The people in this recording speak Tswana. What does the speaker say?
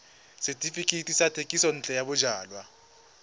setefikeiti sa thekisontle ya bojalwa